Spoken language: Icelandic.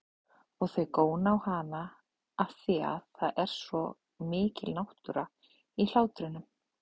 Og þau góna á hana afþvíað það er svo mikil náttúra í hlátrinum.